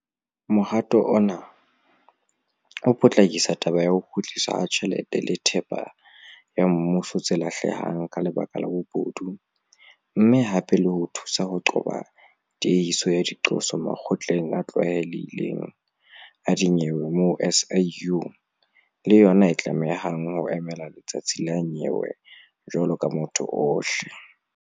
Mohato ona o potlakisa taba ya ho kgutliswa ha tjhelete le thepa ya mmuso tse lahlehang ka lebaka la bobodu mme hape le thusa ho qoba tiehiso ya diqoso makgotleng a tlwaelehileng a dinyewe moo SIU le yona e tlamehang ho emela letsatsi la nyewe jwalo ka motho ohle.